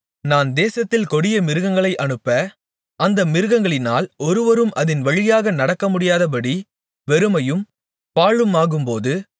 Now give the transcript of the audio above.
நான் தேசத்தில் கொடிய மிருகங்களை அனுப்ப அந்த மிருகங்களினால் ஒருவரும் அதின் வழியாக நடக்கமுடியாதபடி வெறுமையும் பாழுமாகும்போது